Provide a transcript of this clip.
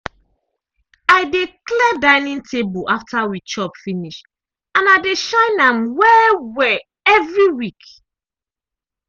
i dey clear dining table after we chop finish and i de shine am well-well evri week.